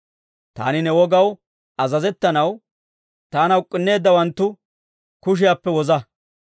Taani ne wogaw azazettanaw, taana uk'k'unneeddawanttu kushiyaappe woza.